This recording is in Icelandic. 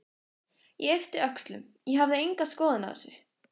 Ég yppti öxlum, ég hafði enga skoðun á þessu.